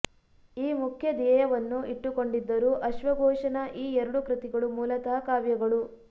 ಈ ಮುಖ್ಯ ಧ್ಯೇಯವನ್ನು ಇಟ್ಟುಕೊಂಡಿದ್ದರೂ ಅಶ್ವಘೋಷನ ಈ ಎರಡು ಕೃತಿಗಳು ಮೂಲತಃ ಕಾವ್ಯಗಳು